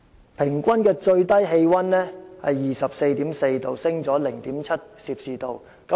而平均最低氣溫也有 24.4℃， 上升了 0.7℃。